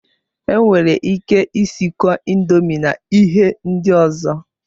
Enwere ike isikọ indomi na ihe ndị ọzọ